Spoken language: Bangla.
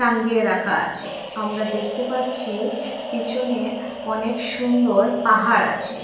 টাঙ্গিয়ে রাখা আছে আমরা দেখতে পাচ্ছি পিছনে অনেক সুন্দর পাহাড় আছে।